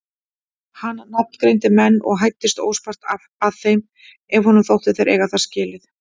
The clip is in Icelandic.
Hann nafngreindi menn og hæddist óspart að þeim ef honum þótti þeir eiga það skilið.